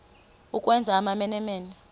ukwenza amamene mene